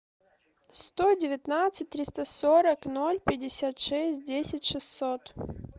сто девятнадцать триста сорок ноль пятьдесят шесть десять шестьсот